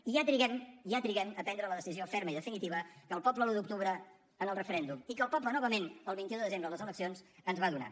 i ja triguem ja triguem a prendre la decisió ferma i definitiva que el poble l’un d’octubre en el referèndum i que el poble novament el vint un de desembre a les eleccions ens va donar